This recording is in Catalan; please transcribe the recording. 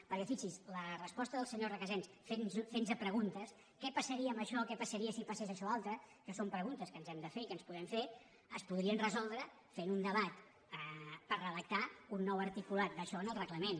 perquè fixin s’hi la resposta del senyor recasens fent nos preguntes què passaria amb això què passaria si passés això altre que són preguntes que ens hem de fer i que ens podem fer es podrien resoldre fent un debat per redactar un nou articulat d’això en el reglament